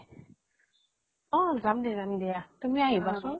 অ যাম দিয়া যাম দিয়া তুমি আহিবা চোন।